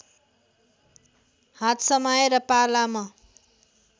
हात समाएर पालाम